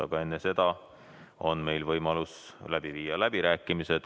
Aga enne seda on meil võimalus läbi viia läbirääkimised.